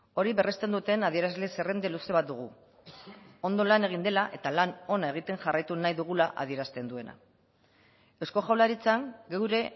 hori berresten duten adierazle zerrenda luze bat dugu ondo lan egin dela eta lan ona egiten jarraitu nahi dugula adierazten duena eusko jaurlaritzan geure